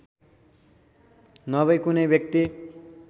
नभई कुनै व्यक्ति